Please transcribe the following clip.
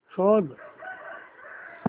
शोध